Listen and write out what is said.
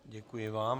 Děkuji vám.